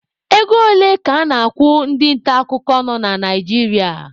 Ego ole ka a na-akwụ ndị nta akụkọ nọ na Naijiria?